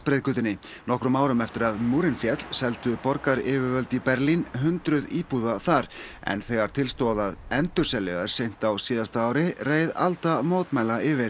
breiðgötunni nokkrum árum eftir að múrinn féll seldu borgaryfirvöld í Berlín hundruð íbúða þar en þegar til stóð að endurselja þær seint á síðasta ári reið alda mótmæla yfir